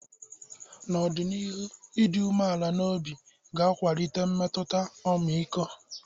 N'ọdịnihu, ịdị umeala n'obi ga-akwalite mmetụta ọmịiko.